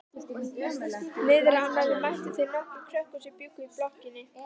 Niðrá annarri mættu þeir nokkrum krökkum sem bjuggu í blokkinni.